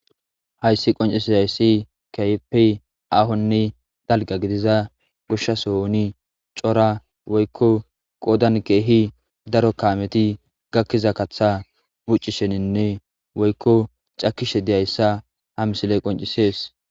Hayssi qoncisizaysi keehipi ahonne dalga gidiza gushshasohoni cora woykko qoodan keehi daro kaameti gakkiza katha buccisheninne woykko cakishe diyayssa ha misile qoncisees.